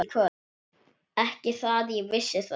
Ekki það ég vissi þá.